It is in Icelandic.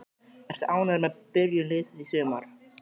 Ertu ánægður með byrjun liðsins í sumar?